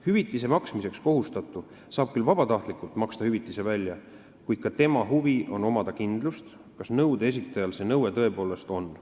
Hüvitise maksmiseks kohustatu saab küll vabatahtlikult hüvitise välja maksta, kuid ka tema huvi on see, et tal oleks kindlus, kas nõude esitajal see nõue tõepoolest on.